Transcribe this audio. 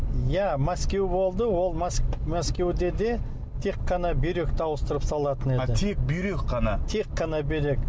иә мәскеу болды ол мәскеуде де тек қана бүйректі ауыстырып салатын еді тек бүйрек қана тек қана бүйрек